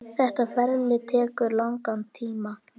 Þetta ferli tekur langan tíma.